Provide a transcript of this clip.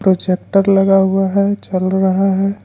Projector लगा हुआ है चल रहा है।